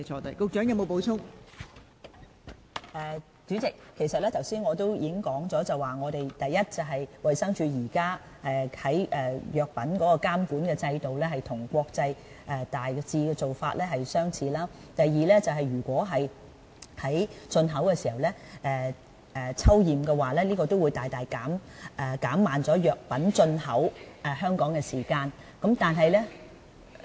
代理主席，我剛才已經指出了，第一，衞生署的藥品監管制度與國際現時的做法大致相似。第二，如果在進口的時候抽驗，將會大大減慢藥品進口香港的時間。